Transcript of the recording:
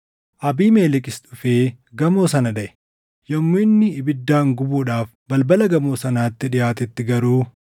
Abiimelekis dhufee gamoo sana dhaʼe; yommuu inni ibiddaan gubuudhaaf balbala gamoo sanaatti dhiʼaatetti garuu,